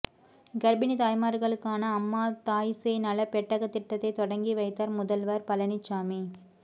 கர்ப்பிணி தாய்மார்களுக்கான அம்மா தாய் சேய் நல பெட்டக திட்டத்தை தொடங்கி வைத்தார் முதல்வர் பழனிசாமி